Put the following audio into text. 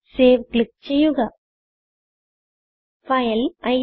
save click ചെയ്യുക file incrdecrസി